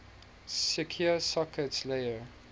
secure sockets layer